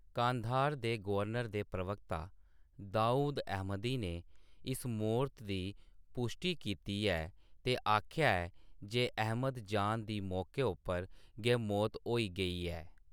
कांधार दे गवर्नर दे प्रवक्ता दाऊद अहमदी ने इस मौत दी पुश्टी कीती ऐ ते आखेआ ऐ जे अहमद-जान दी मौके उप्पर गै मौत होई गेई ऐ।